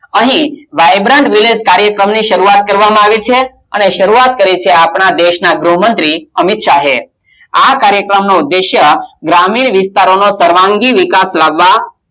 અહીં vibrant village કાર્યક્રમની શરૂઆત કરવામાં આવી છે અને શરૂઆત કરી છે આપણા દેશના ગૃહમંત્રી અમિત શાહે આ કાર્યક્રમનો ઉદ્દેશ્ય ગ્રામીણ વિસ્તારોનો સર્વાંગી વિકાસ લાવવા